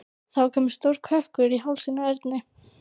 Það var kominn stór kökkur í hálsinn á Erni.